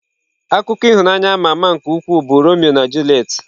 Akụkọ ịhụnanya ama ama nke ukwuu bụ Romeo na Juliet.